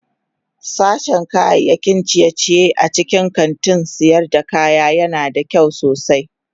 Sashen kayan ciye-ciye a cikin kantin sayar da kaya yana da kyau sosai.